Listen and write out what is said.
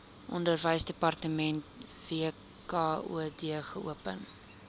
onderwysdepartement wkod geopen